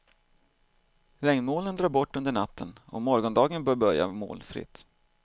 Regnmolnen drar bort under natten och morgondagen bör börja molnfritt.